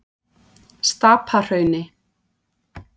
Stapahrauni